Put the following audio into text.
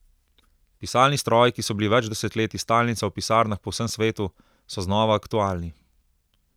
Pisalni stroji, ki so bili več desetletij stalnica v pisarnah po vsem svetu, so znova aktualni.